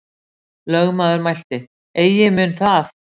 Lögmaður mælti: Eigi mun það.